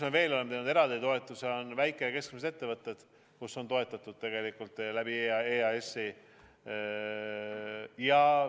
Me oleme teinud eraldi toetusi väike- ja keskmistele ettevõtetele, keda on toetatud EAS-i kaudu.